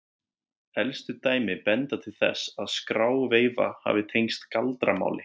elstu dæmi benda til þess að skráveifa hafi tengst galdramáli